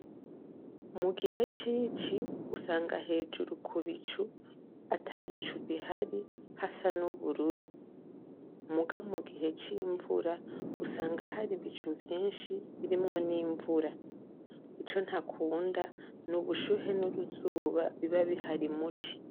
Mu gihe c'ici usanga hejuru ku bicu ata bicu bihari hasa n'ubururu. Muga mu gihe c'imvura usanga hari ibicu vyinshi birimwo n'imvura. Ico ntakunda n'ubushuhe n'uruzuba biba bihari mu ci.